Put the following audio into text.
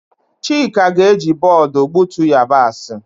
Chika ga-eji bọọdụ gbutu yabasị.